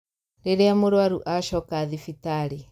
Rĩrĩa mũrũaru acoka thibitarĩ